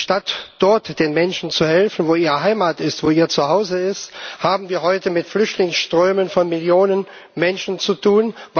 Statt dort den Menschen zu helfen, wo ihre Heimat ist, wo ihr Zuhause ist, haben wir heute mit Flüchtlingsströmen von Millionen Menschen zu tun.